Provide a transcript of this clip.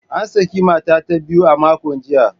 An saki mata ta biyu a makon jiya.